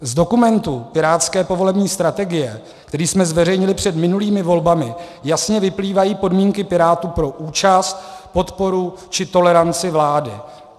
Z dokumentu pirátské povolební strategie, který jsme zveřejnili před minulými volbami, jasně vyplývají podmínky Pirátů pro účast, podporu či toleranci vládě.